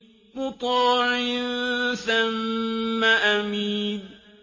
مُّطَاعٍ ثَمَّ أَمِينٍ